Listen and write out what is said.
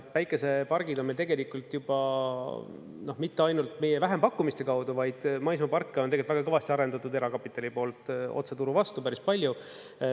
Päikesepargid on meil tegelikult juba, mitte ainult meie vähempakkumiste kaudu, vaid maismaaparke on tegelikult väga kõvasti arendatud erakapitali poolt, otse turu vastu päris palju.